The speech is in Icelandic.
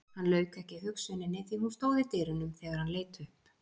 Hann lauk ekki hugsuninni því hún stóð í dyrunum þegar hann leit upp.